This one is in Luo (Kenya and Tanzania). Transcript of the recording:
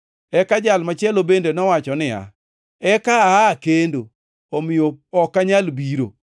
“Eka Jal machielo bende nowacho niya, ‘Eka aa kendo, omiyo ok anyal biro.’